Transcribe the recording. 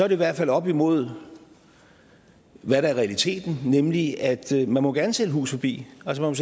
i hvert fald op imod hvad der er realiteten nemlig at man gerne må sælge hus forbi altså